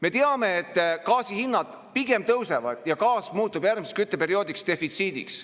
Me teame, et gaasi hinnad pigem tõusevad ja gaas muutub järgmiseks kütteperioodiks defitsiidiks.